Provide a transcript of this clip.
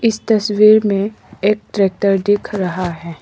इस तस्वीर में एक ट्रैक्टर दिख रहा है।